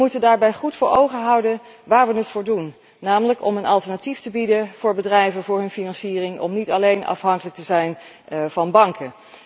We moeten daarbij goed voor ogen houden waar we het voor doen, namelijk om een alternatief te bieden aan bedrijven voor hun financiering, zodat zij niet alleen afhankelijk zijn van banken.